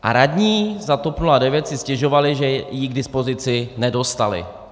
A radní za TOP 09 si stěžovali, že ji k dispozici nedostali.